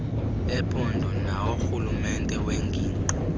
ephondo naworhulumente wengingqi